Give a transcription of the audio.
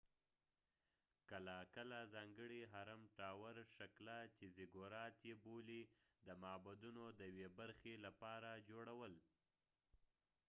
کله کله ځانګړي هرم ټاور شکله چې زیګورات یې بولي د معبدونو د یوې برخې لپاره جوړول